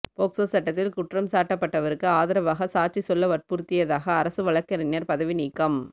POCSO சட்டத்தில் குற்றம் சாட்டப்பட்டவருக்கு ஆதரவாக சாட்சி சொல்ல வற்புறுத்தியதாக அரசு வழக்கறிஞர் பதவி நீக்கம்